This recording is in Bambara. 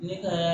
Ne ka